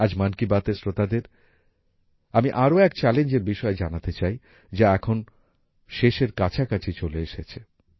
আজ মন কি বাতএর শ্রোতাদের আমি আরো এক চ্যালেঞ্জের বিষয়ে জানাতে চাই যা এখন শেষের কাছাকাছি চলে এসেছে